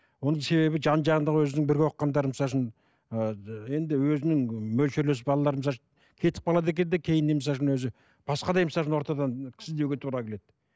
оның себебі жан жағында өзінің бірге оқығандары ы енді өзінің мөлшерлес балаларының кетіп қалады екен де кейіннен өзі ортадан қыз іздеуге керек